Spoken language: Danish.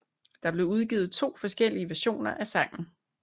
Der blev udgivet to forskellige versioner af sangen